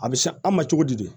A bɛ san an ma cogo di